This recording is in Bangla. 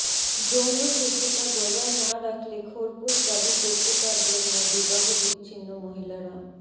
যৌন শুদ্ধতা বজায় না রাখলে খোরপোশ দাবি করতে পারবেন না বিবাহ বিচ্ছিন্ন মহিলারা